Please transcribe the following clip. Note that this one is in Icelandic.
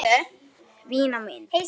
Vina mín!